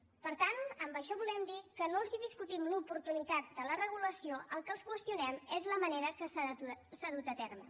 per tant amb això volem dir que no els discutim l’oportunitat de la regulació el que els qüestionem és la manera en què s’ha dut a terme